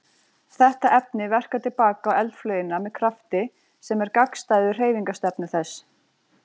Þetta efni verkar til baka á eldflaugina með krafti sem er gagnstæður hreyfingarstefnu þess.